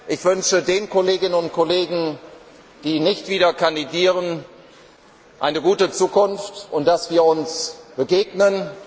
Ich wünsche den Kolleginnen und Kollegen, die nicht wieder kandidieren, eine gute Zukunft und dass wir uns begegnen.